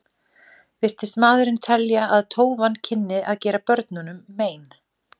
Virtist maðurinn telja að tófan kynni að gera börnunum mein.